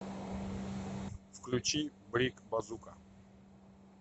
включи брик базука